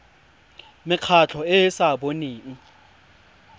mekgatlho e e sa boneng